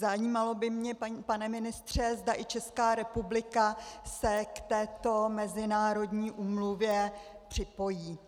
Zajímalo by mě, pane ministře, zda i Česká republika se k této mezinárodní úmluvě připojí.